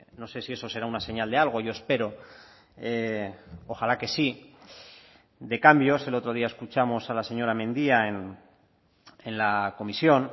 no sé si eso será una señal de algo yo espero ojalá que sí de cambios el otro día escuchamos a la señora mendia en la comisión